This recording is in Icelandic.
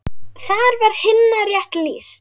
Þar var Hinna rétt lýst.